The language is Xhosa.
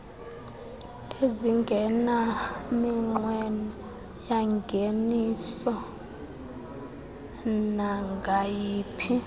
ezingenaminqweno yangeniso nangayiphi